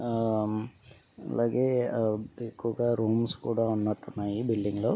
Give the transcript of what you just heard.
ఆ అలాగే ఎక్కువగా రూమ్స్ కూడా ఉన్నట్టున్నాయిబిల్డింగ్లో లో--